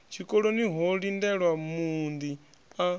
tshikoloni ho lindelwa muunḓi a